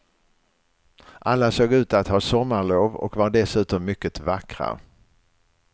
Alla såg ut att ha sommarlov och var dessutom mycket vackra.